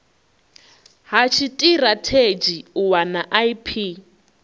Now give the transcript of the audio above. ha tshitirathedzhi u wana ip